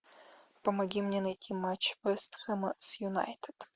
помоги мне найти матч вест хэма с юнайтед